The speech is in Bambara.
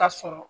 Ka sɔrɔ